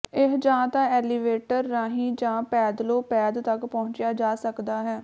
ਇਹ ਜਾਂ ਤਾਂ ਐਲੀਵੇਟਰ ਰਾਹੀਂ ਜਾਂ ਪੈਦਲੋਂ ਪੈਦ ਤਕ ਪਹੁੰਚਿਆ ਜਾ ਸਕਦਾ ਹੈ